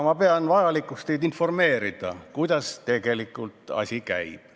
Ma pean vajalikuks teid informeerida, kuidas tegelikult asi käib.